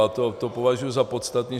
A to považuji za podstatné.